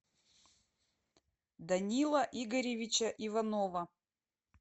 данила игоревича иванова